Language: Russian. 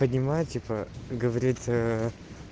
понимаю типа говорит ээ